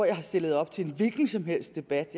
jeg har stillet op til en hvilken som helst debat